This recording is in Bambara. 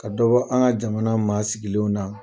Ka dɔ an ka jamana maa sigilenw na.